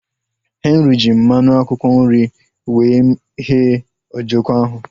Henry ji mmanụ akwụkwọ nri wee ghee ojoko ahu